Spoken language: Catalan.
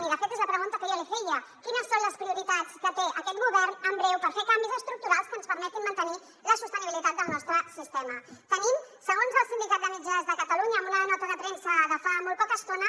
i de fet és la pregunta que jo li feia quines són les prioritats que té aquest govern en breu per fer canvis estructurals que ens permetin mantenir la sostenibilitat del nostre sistema segons el sindicat de metges de catalunya en una nota de premsa de fa molt poca estona